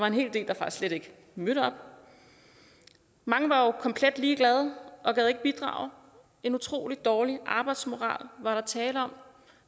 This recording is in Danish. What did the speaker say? en hel del der slet ikke mødte op mange var jo komplet ligeglade og gad ikke bidrage en utrolig dårlig arbejdsmoral var der tale om